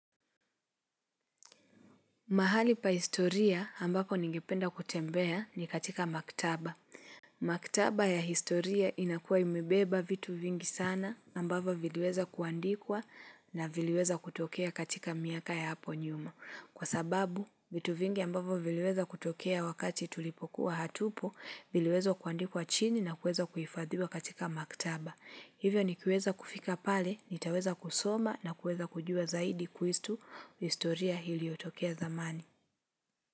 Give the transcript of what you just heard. Mahali pa historia ambapo ningependa kutembea ni katika maktaba. Maktaba ya historia inakuwa imebeba vitu vingi sana ambavo viliweza kuandikwa na viliweza kutokea katika miaka ya hapo nyuma. Kwa sababu vitu vingi ambavo viliweza kutokea wakati tulipokuwa hatupo viliweza kuandikwa chini na kueza kuhifadhiwa katika maktaba. Hivyo ni kiweza kufika pale, nitaweza kusoma na kuweza kujua zaidi kuhusu historia iliyotokea zamani.